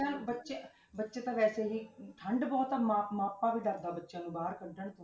ਬੱਚਿਆਂ ਬੱਚੇ ਬੱਚੇ ਤਾਂ ਵੈਸੇ ਹੀ ਠੰਢ ਬਹੁਤ ਆ ਮਾ~ ਮਾਪਾ ਵੀ ਡਰਦਾ ਬੱਚਿਆਂ ਨੂੰ ਬਾਹਰ ਕੱਢਣ ਤੋਂ